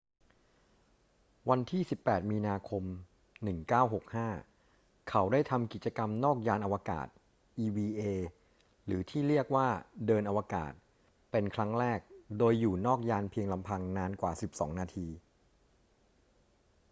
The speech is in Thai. วันที่ 18 มีนาคม 1965 เขาได้ทำกิจกรรมนอกยานอวกาศ eva หรือที่เรียกว่า เดินอวกาศ เป็นครั้งแรก โดยอยู่นอกยานเพียงลำพังนานกว่า 12 นาที